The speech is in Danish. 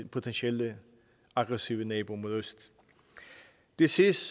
potentielt aggressive nabo mod øst det sidste